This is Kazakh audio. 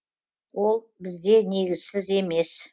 ол бізде негізсіз емес